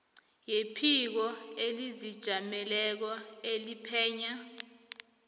yephiko elizijameleko eliphenya